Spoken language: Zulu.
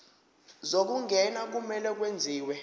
zokungena kumele kwenziwe